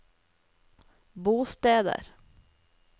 bosteder